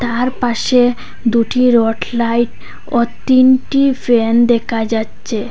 তার পাশে দুটি রড লাইট ও তিনটি ফ্যান দেকা যাচ্চে।